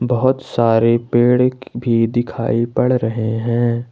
बहोत सारे पेड़ भी दिखाई पड़ रहे हैं।